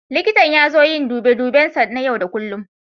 Likita ya zo don yin dube duben sa na yau da kullum.